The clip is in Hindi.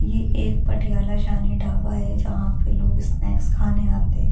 ये एक पटियाला शानी ढावा है जहां पे लोग स्‍नैक्‍स खाने के लिए आते है लेकिन --